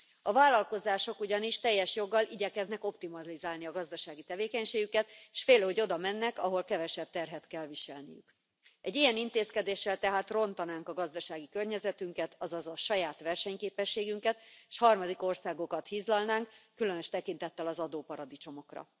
A vállalkozások ugyanis teljes joggal igyekeznek optimalizálni a gazdasági tevékenységüket, és félő, hogy oda mennek, ahol kevesebb terhet kell viselniük. Egy ilyen intézkedéssel tehát rontanák a gazdasági környezetünket, azaz a saját versenyképességünket, s a harmadik országokat hizlalnánk, különös tekintettel az adóparadicsomokra.